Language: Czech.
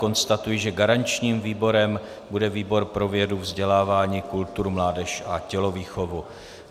Konstatuji, že garančním výborem bude výbor pro vědu, vzdělávání, kulturu, mládež a tělovýchovu.